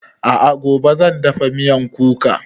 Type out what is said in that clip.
A'a gobe zan dafa miyan kuka